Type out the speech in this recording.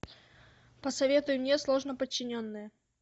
посоветуй мне сложноподчиненные